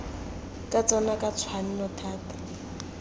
ka tsona ka tshwanno thata